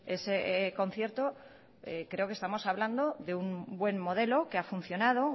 ese concierto creo que estamos hablando de un buen modelo que ha funcionado